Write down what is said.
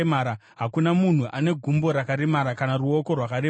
hakuna munhu ane gumbo rakaremara kana ruoko rwakaremara,